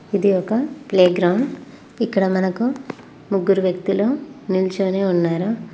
ఇది ఒక ప్లేగ్రౌండ్ ఇక్కడ మనకు ముగ్గురు వ్యక్తులు నిల్చోనే ఉన్నారు.